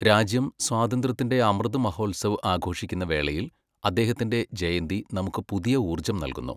രാജ്യം സ്വാതന്ത്ര്യത്തിന്റെ അമൃത് മഹോത്സവ് ആഘോഷിക്കുന്ന വേളയിൽ അദ്ദേഹത്തിന്റെ ജയന്തി നമുക്ക് പുതിയ ഊർജ്ജം നൽകുന്നു.